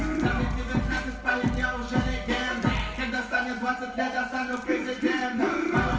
вида стали двадцать пятое